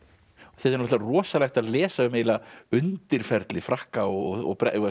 er náttúrulega rosalegt að lesa um undirferli Frakka og